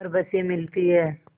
पर बसें मिलती हैं